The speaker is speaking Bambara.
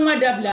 N ka dabila